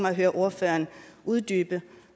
at høre ordføreren uddybe